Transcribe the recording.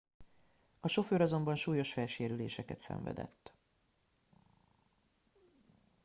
a sofőr azonban súlyos fejsérüléseket szenvedett